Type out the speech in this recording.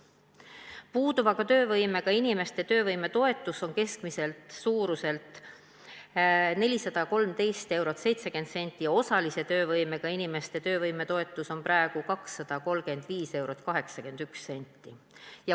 Puuduva töövõimega inimeste töövõimetoetus on keskmiselt 413 eurot ja 70 senti ning osalise töövõimega inimeste töövõimetoetus on praegu 235 eurot ja 81 senti.